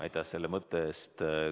Aitäh selle mõtte eest!